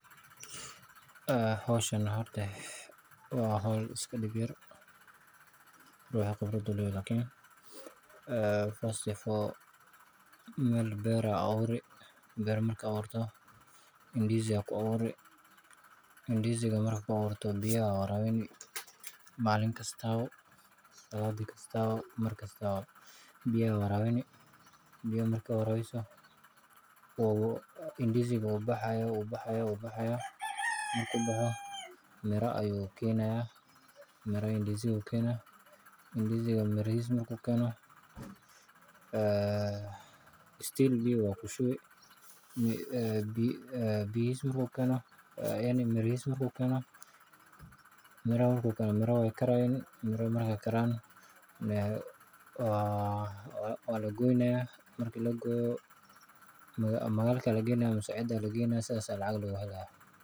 Waa hawl dhib yar, laakiin caqabad leh. Beer ayaa la abuurayaa ndizi, kuna abuur biyo waraabin maalin kasta. Ndizi-ga wuu baxayaa, mirana wuu keenayaa. Haddana weli biyo ayaa lagu shubayaa. Miraha way bislaanayaan waana la gooynayaa, makhaayadana waa la geynin ama cid kale oo sidaas lacag lagu helo.